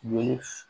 Ni